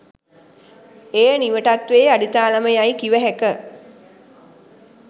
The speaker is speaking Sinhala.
එය නිවටත්වයේ අඩිතාලම යයි කිවහැක